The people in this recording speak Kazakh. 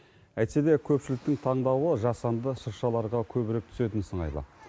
әйтсе де көпшіліктің таңдауы жасанды шыршаларға көбірек түсетін сыңайлы